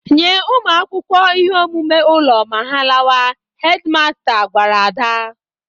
"Nye ụmụ akwụkwọ ihe omume ụlo ma ha lawa," hedi masta gwara Ada.